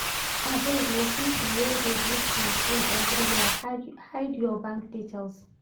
Abeg o, pipo wey dey do scam full everywhere, hide your bank details.